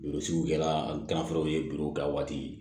Joli sugu kɛla ka waati